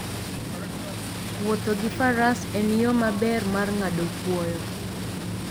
Wuotho gi faras en yo maber mar ng'ado kwoyo.